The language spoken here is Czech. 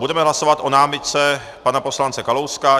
Budeme hlasovat o námitce pana poslance Kalouska.